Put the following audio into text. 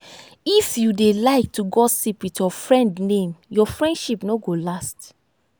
if you dey like gossip with your friend name your friendship no go last.